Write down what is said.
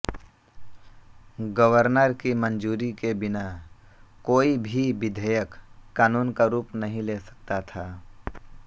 governor की मंजूरी के बिना कोई भी विधेयक कानून का रूप नहीं ले सकता था